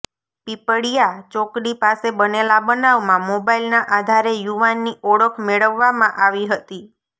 પીપળીયા ચોકડી પાસે બનેલા બનાવમાં મોબાઈલના આધારે યુવાનની ઓળખ મેળવવામાં આવી હતી